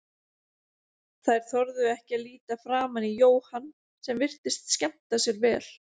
Þær þorðu ekki að líta framan í Jóhann sem virtist skemmta sér vel.